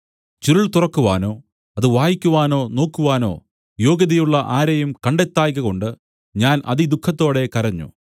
ചുരുൾ തുറക്കുവാനോ അത് വായിക്കുവാനോ നോക്കുവാനോ യോഗ്യതയുള്ള ആരെയും കണ്ടെത്തായ്കകൊണ്ട് ഞാൻ അതിദുഃഖത്തോടെ കരഞ്ഞു